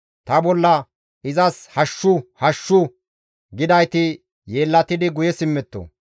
Ta bolla, «Izas hashshu! Hashshu!» gidayti yeellatidi guye simmetto.